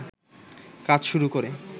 কাজ শুরু করে